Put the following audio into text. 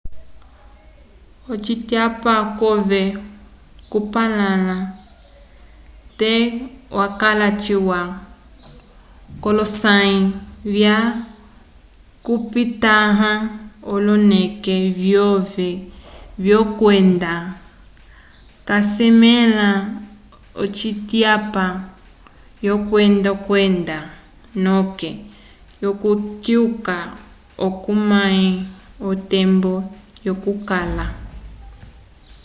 ocityapa cove co kupalala te yakala ciwa kolo sayi vya 6 okupitahaha oloneke vyove vyo kwenda ca sesamela ocityapa yo kwenda kwenda noke yo ku tyuka oco omahe otembo yo ku kala